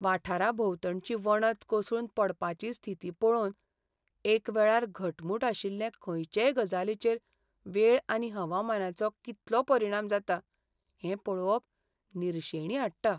वाठाराभोंवतणची वणत कोसळून पडपाची स्थिती पळोवन, एकवेळार घटमूट आशिल्ले खंयचेय गजालीचेर वेळ आनी हवामानाचो कितलो परिणाम जाता हें पळोवप निरशेणी हाडटा.